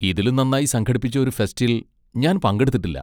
ഇതിലും നന്നായി സംഘടിപ്പിച്ച ഒരു ഫെസ്റ്റിൽ ഞാൻ പങ്കെടുത്തിട്ടില്ല.